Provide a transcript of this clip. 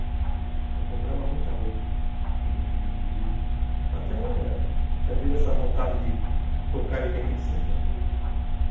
Então comprava muita roupa e até vira essa vontade de tocar em oitenta e cinco, né? uhum